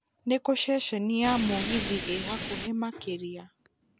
nĩkũ ceceni ya mũgithi ĩ hakũhĩ makĩria